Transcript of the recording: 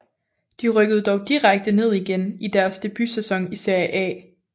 De rykkede dog direkte ned igen i deres debutsæson i Serie A